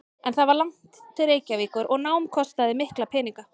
En það var langt til Reykjavíkur og nám kostaði mikla peninga.